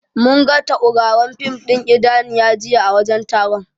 Munga tauraron fin ɗin Idaniya jiya a wajen taron.